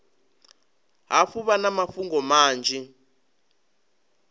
hafhu vha na mafhungo manzhi